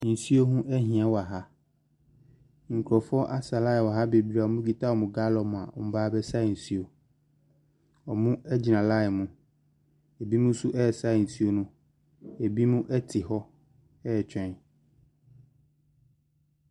Nsuo ho ahia wɔ ha nkorɔfoɔ asa lae bebree a wɔnnom kita wɔn gaalɔn a wɔnnom reba aba sa nsuo. Wɔnnom ɛgyina lae mu, ɛbinom nso resa nsuo no, ɛbinom ɛte hɔ retwɛn.